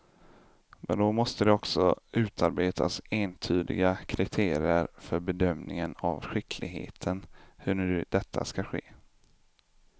Men då måste det också utarbetas entydiga kriterier för bedömningen av skickligheten, hur nu detta ska ske.